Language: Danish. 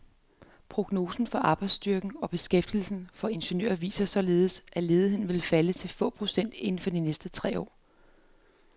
Prognoser for arbejdsstyrken og beskæftigelsen for ingeniører viser således, at ledigheden vil falde til få procent inden for de næste tre år.